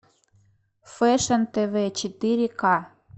фэшн тв четыре ка